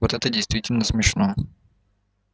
вот это действительно смешно